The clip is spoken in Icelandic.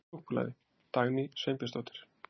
Súkkulaði: Dagný Sveinbjörnsdóttir.